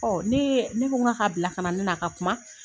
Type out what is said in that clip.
ne yee ne ko n ka k'a bila kana ne n'a ka kuma.